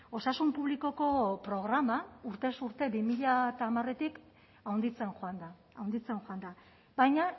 osasun publikoko programa urtez urte bi mila hamaretik handitzen joan da handitzen joan da baina